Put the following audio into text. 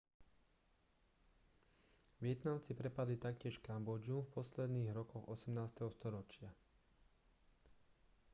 vietnamci prepadli taktiež kambodžu v posledných rokoch 18. storočia